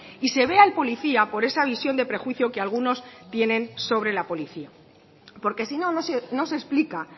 y se ve al policía por esa visión de prejuicio que algunos tienen sobre la policía porque si no no se explica